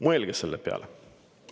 Mõelge selle peale.